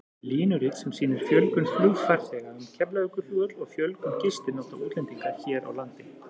Línurit sem sýnir fjölgun flugfarþega um Keflavíkurflugvöll og fjölgun gistinátta útlendinga hér á landi.